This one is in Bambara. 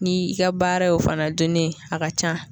Ni i ka baara y'o fana dunni a ka ca